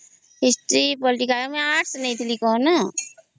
history political ଆର୍ଟ୍ସନେଇଥିଲି କଣ